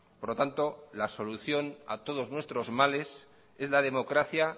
por lo tanto la solución a todos nuestros males es la democracia